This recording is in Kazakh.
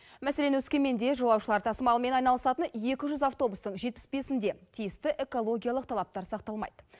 мәселен өскеменде жолаушылар тасымалымен айналысатын екі жүз автобустың жетпіс бесінде тиісті экологиялық талаптар сақталмайды